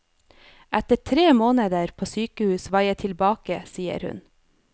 Etter tre måneder på sykehus var jeg tilbake, sier hun.